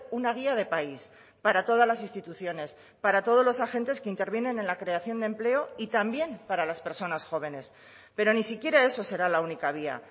una guía de país para todas las instituciones para todos los agentes que intervienen en la creación de empleo y también para las personas jóvenes pero ni siquiera eso será la única vía